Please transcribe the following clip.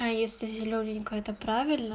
а если зелёненькая это правильно